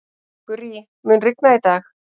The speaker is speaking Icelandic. Gurrí, mun rigna í dag?